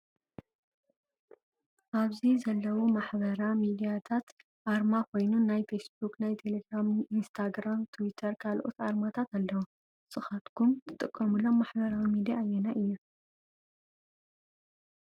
ኣብዚ ዘለው ማሕበራ ሚድረያታት ኣርማ ኮይኑ ናይ ፌስቡክ፣ ናይ ተሌግራም ፣ንስታግራም ፣ ተዊተር፣ ካልኦት ኣርማታት ኣለው። ንስካትኩም ትጥቀምሎም ማሕበራዊ ሚድያ ኣየናይ እዩ ?